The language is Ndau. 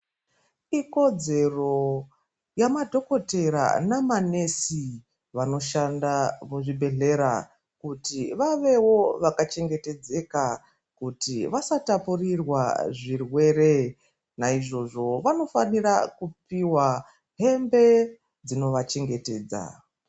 Ikodzero yemadhokodhera nema nesi vanoshanda kuzvibhedhlera, kuti vavewo vakachengetedzeka kuti vasatapurirwa zvirwere .Naizvozvo vanofanira kupiwa hembe dzinovachengetedza.